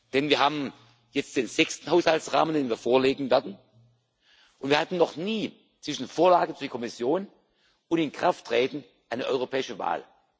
Mai. Denn wir haben jetzt den sechsten Haushaltsrahmen, den wir vorlegen werden, und wir hatten noch nie zwischen Vorlage durch die Kommission und Inkrafttreten eine europäische Wahl.